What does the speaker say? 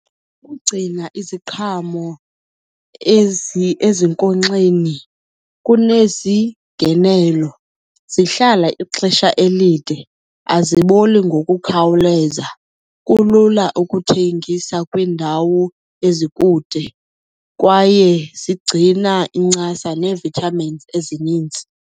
Ukugcina iziqhamo ezinkonkxeni kunezi ngenelo. Zihlala ixesha elide, aziboli ngokukhawuleza. Kulula ukuthengisa kwiindawo ezikude kwaye zigcina incasa nee-vitamins ezininzi.